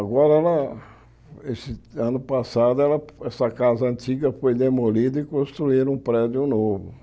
Agora, ela esse ano passado, ela essa casa antiga foi demolida e construíram um prédio novo.